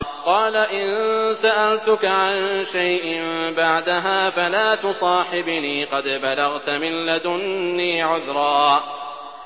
قَالَ إِن سَأَلْتُكَ عَن شَيْءٍ بَعْدَهَا فَلَا تُصَاحِبْنِي ۖ قَدْ بَلَغْتَ مِن لَّدُنِّي عُذْرًا